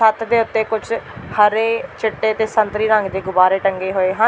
ਛੱਤ ਦੇ ਉੱਤੇ ਕੁਝ ਹਰੇ ਚਿੱਟੇ ਤੇ ਸੰਤਰੀ ਰੰਗ ਦੇ ਗੁਬਾਰੇ ਟੰਗੇ ਹੋਏ ਹਨ।